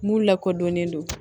Mun lakodɔnnen don